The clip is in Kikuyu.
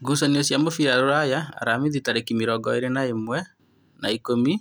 Ngucanio cia mũbira Rūraya Aramithi tarĩki mĩrongo ĩrĩ na ĩmwe wa ikũmi